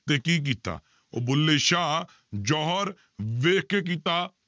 ਤੇ ਕੀਤਾ ਉਹ ਬੁੱਲੇ ਸ਼ਾਹ ਜੋਹਰ ਵੇਖ ਕੇ ਕੀਤਾ।